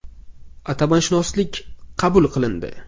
Atamashunoslik” qabul qilindi.